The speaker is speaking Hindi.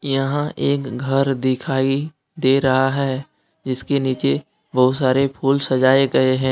यहां एक घर दिखाइ दे रहा है जिसके नीचे बहुत सारे फूल सजाए गए हैं।